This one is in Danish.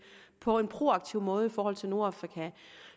på en proaktiv måde i forhold til nordafrika